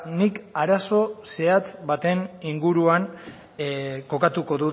nik arazo zehatz baten inguruan kokatuko